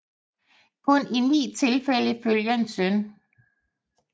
Kun i ni tilfælde følger en søn